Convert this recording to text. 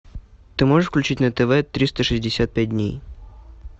ты можешь включить на тв триста шестьдесят пять дней